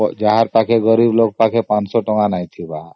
ଯାହା ଯେଉ ଗରିବ ଲୋକ ପାଖରେ ୫୦୦ଟଙ୍କା ନଥିବ